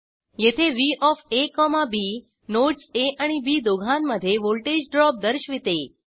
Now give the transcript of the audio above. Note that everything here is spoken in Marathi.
येथे V of A comma B nodes A आणि बी दोघांमध्ये व्हॉल्टेज ड्रॉप दर्शविते